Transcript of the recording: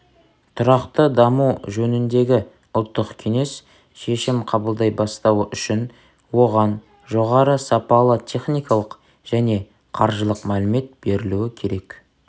тұрақты даму жөніндегі ұлттық кеңес шешім қабылдай бастауы үшін оған жоғары-сапалы техникалық және қаржылық мәлімет берілуі керек